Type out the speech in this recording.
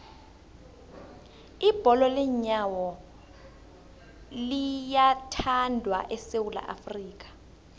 ibholo leenyawo liyathandwa esewula afrika